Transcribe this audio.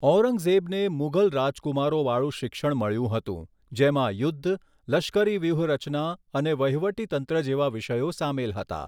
ઔરંગઝેબને મુઘલ રાજકુમારોવાળુ શિક્ષણ મળ્યું હતું જેમાં યુદ્ધ, લશ્કરી વ્યૂહરચના અને વહીવટીતંત્ર જેવા વિષયો સામેલ હતા.